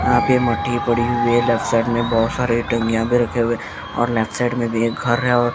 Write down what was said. यहां पे मट्टी पड़ी हुई है लेफ्ट साइड में बहुत सारे भी रखे हुए और लेफ्ट साइड में भी एक घर है और --